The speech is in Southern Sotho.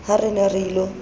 ha re ne re ilo